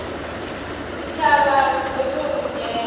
tshitshavha hu ḓo ṱo ḓea